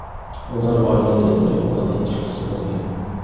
Ular oilada ikki o‘g‘il, ikki qiz bo‘lgan.